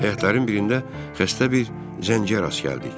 Həyatların birində xəstə bir zəncərə rast gəldik.